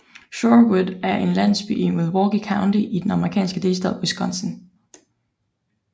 Shorewood er en landsby i Milwaukee County i den amerikanske delstat Wisconsin